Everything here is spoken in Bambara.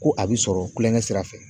Ko a bi sɔrɔ kulonkɛ sira fɛ.